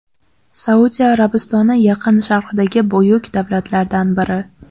Saudiya Arabistoni Yaqin Sharqdagi buyuk davlatlardan biri.